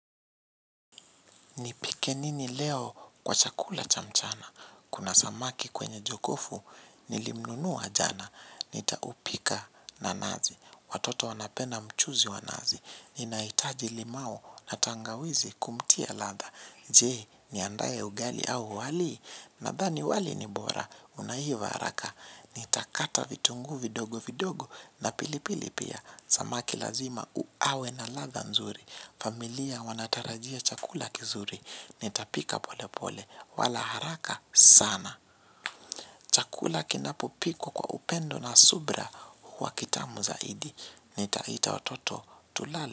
Nipike nini leo kwa chakula cha mchana, kuna samaki kwenye jokofu, nilimnunua jana, nitaupika na nazi, watoto wanapenda mchuzi wa nazi, ninahitaji limau na tangawizi kumtia ladha, jee niandae ugali au wali, nadhani wali ni bora, unaiva haraka, nitakata vitunguu vidogo vidogo na pilipili pia, samaki lazima u awe na ladha nzuri, familia wanatarajia chakula kizuri. Nitapika pole pole. Wala haraka sana. Chakula kinapo pikwa kwa upendo na subra. Huwa kitamu zaidi. Nitaita watoto tulale.